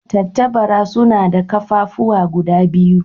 Tattabara suna da ƙafafuwa guda biyu.